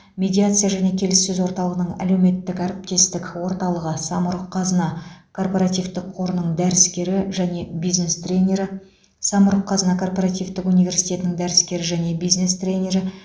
медиация және келіссөз орталығының әлеуметтік әріптестік орталығы самұрық қазына корпоративтік қорының дәріскері және бизнес тренирі самұрық қазына корпоративтік университетінің дәріскері және бизнес тренирі